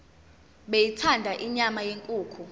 beyithanda inyama yenkukhu